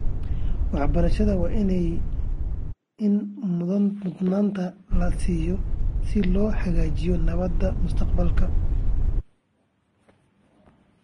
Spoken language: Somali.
Waxbarashada waa in mudnaanta la siiyaa si loo xaqiijiyo nabadda mustaqbalka .